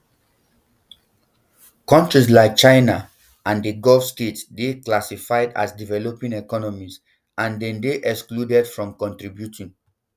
countries like china and di gulf states dey classified as developing economies and dem dey excluded from contributing